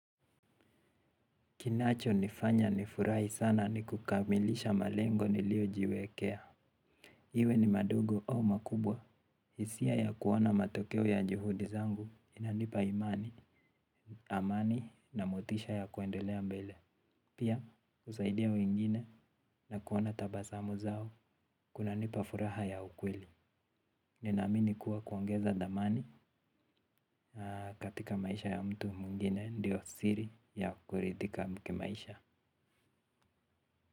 Kinacho nifanya nifurahi sana ni kukamilisha malengo niliyo jiwekea. Iwe ni madugo au makubwa. Hisia ya kuona matokeo ya juhudi zangu inanipa imani amani na motisha ya kuendelea mbele. Pia husaidia wengine na kuona tabasamu zao kunanipa furaha ya ukweli. Ninaamini kuwa kuongeza dhamani katika maisha ya mtu mwingine ndiyo siri ya kuridhika kimaisha.